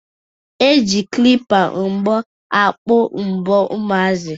E ji klipa mbọ akpụ mbọ ụmụazi